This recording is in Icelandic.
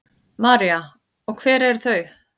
María: Og hver eru þau?